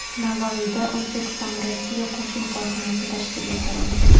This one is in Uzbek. Navoiyda O‘zbekistonRossiya qo‘shma korxonasi tashkil etildi.